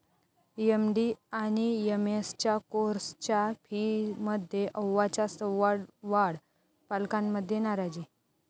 MD आणि एमएसच्या कोर्सच्या फीमध्ये अव्वाच्या सव्वा वाढ, पालकांमध्ये नाराजी